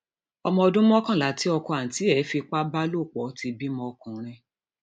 ọmọ ọdún mọkànlá tí ọkọ àǹtí ẹ fipá bá lò pọ ti bímọ ọkùnrin